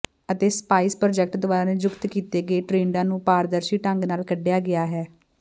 ਅਤੇ spices project ਦੁਆਰਾ ਨਿਯੁਕਤ ਕੀਤੇ ਗਏ ਟਰੇਡਾਂ ਨੂੰ ਪਾਰਦਰਸ਼ੀ ਢੰਗ ਨਾਲ ਕੱਢਿਆ ਗਿਆ ਹੈ